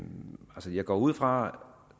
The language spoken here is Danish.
nu jeg går ud fra